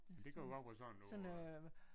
Men det kunne jo godt være sådan noget øh